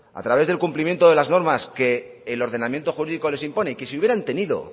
a través del cumplimiento de las normas que el ordenamiento jurídico les impone y que si hubieran tenido